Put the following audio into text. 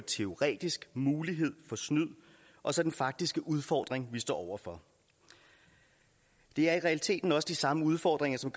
teoretisk mulighed for snyd og så den faktiske udfordring vi står over for det er i realiteten også de samme udfordringer som